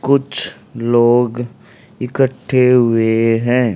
कुछ लोग इकट्ठे हुए हैं।